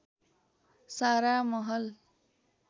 सारा महल